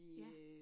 Ja